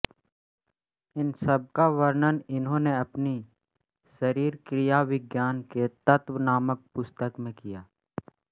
इन सबका वर्णन इन्होंने अपनी शरीरक्रियाविज्ञान के तत्व नामक पुस्तक में किया